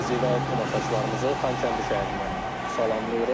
Sizi və tamaşaçılarımızı Xankəndi şəhərindən salamlayırıq.